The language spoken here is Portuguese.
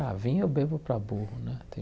Ah, vinho eu bebo para burro né.